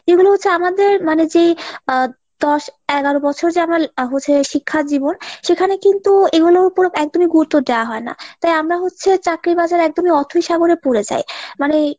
যেগুলো হচ্ছে আমাদের মানে যে আহ দশ এগারো বছর যে আমরা হচ্ছে শিক্ষাজীবন সেখানে কিন্তু এগুলোর ওপর একদমই গুরুত্ব দেওয়া হয় না। তাই আমরা হচ্ছে চাকরির বাজারে একদম অথৈ সাগরে পরে যাই। মানে